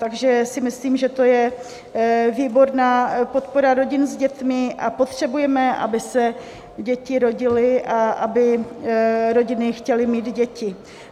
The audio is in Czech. Takže si myslím, že to je výborná podpora rodin s dětmi, a potřebujeme, aby se děti rodily a aby rodiny chtěly mít děti.